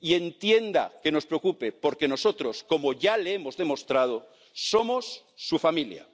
Y entienda que nos preocupe, porque nosotros, como ya le hemos demostrado, somos su familia.